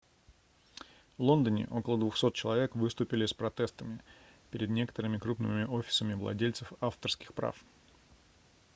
в лондоне около 200 человек выступили с протестами перед некоторыми крупными офисами владельцев авторских прав